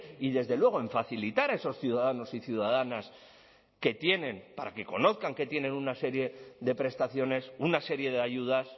y desde luego en facilitar a esos ciudadanos y ciudadanas que tienen para que conozcan que tienen una serie de prestaciones una serie de ayudas